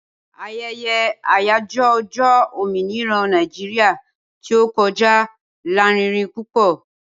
Aye̩ye̩ àyájó̩ o̩jó̩ òmìnira Naijiria tí ó ko̩já lárinrin púpò̩